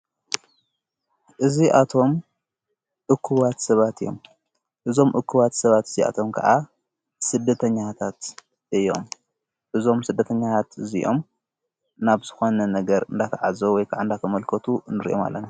እዙ ኣቶም እክዋት ሰባት እዮም እዞም እክዋት ሰባት እዙይኣቶም ከዓ ሥደተኛታት እዮም እዞም ሥደተኛያት እዚኦዮም ናብ ዝኾነ ነገር እንዳተ ዓዘው ወይከዕንዳኸ መልከቱ እንርየም ኣለን።